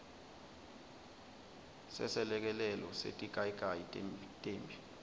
seselekelelo setigayigayi temphi